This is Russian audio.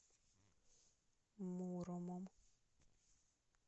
муромом